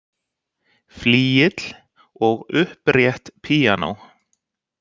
Flygill og upprétt píanó.